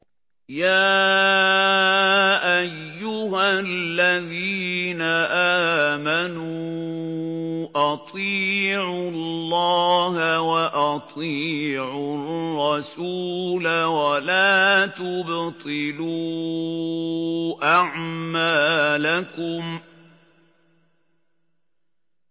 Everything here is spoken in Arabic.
۞ يَا أَيُّهَا الَّذِينَ آمَنُوا أَطِيعُوا اللَّهَ وَأَطِيعُوا الرَّسُولَ وَلَا تُبْطِلُوا أَعْمَالَكُمْ